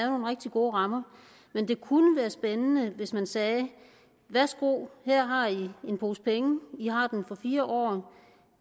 nogle rigtig gode rammer men det kunne være spændende hvis man sagde værsgo her har i en pose penge i har dem for fire år